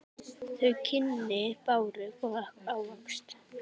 Þau kynni báru góðan ávöxt.